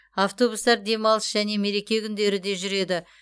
автобустар демалыс және мереке күндері де жүреді